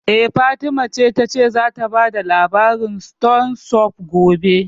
Eh, Fatima ta ce zata karanta labarin stone soup gobe